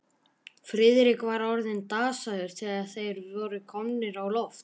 Friðrik var orðinn dasaður, þegar þeir voru komnir á loft.